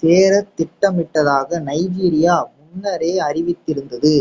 சேரத் திட்டமிட்டதாக நைஜீரியா முன்னரே அறிவித்திருந்தது